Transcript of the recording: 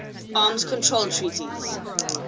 arms control treaties